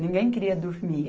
Ninguém queria dormir.